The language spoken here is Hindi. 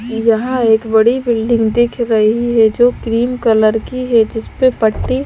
यहां एक बड़ी बिल्डिंग दिख रही है जो क्रीम कलर की है जिस पे पट्टी--